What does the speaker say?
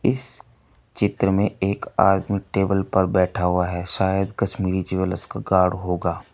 इस चित्र में एक आदमी टेबल पर बैठा हुआ है शायद कश्मीरी ज्वैलर्स का गार्ड होगा।